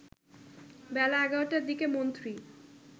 বেলা ১১টার দিকে মন্ত্রী